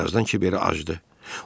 Bir azdan kiberə acdı.